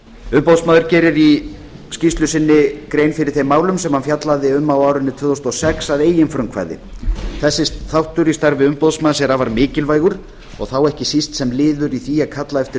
umboðsmaður gerir í skýrslu sinni grein fyrir þeim málum sem hann fjallaði um á árinu tvö þúsund og sex að eigin frumkvæði þessi þáttur í starfi umboðsmanns er afar mikilvægur og þá ekki síst sem liður í því að kalla eftir